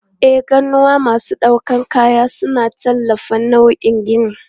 E, ganuwa masu ɗaukar kaya suna tallafawa nauyin gini.